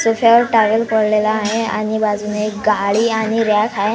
Sofa वर towel पडलेलं आहे आणि बाजूला एक गाडी आणि रॅक आहे.